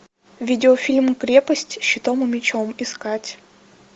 видеофильм крепость щитом и мечом искать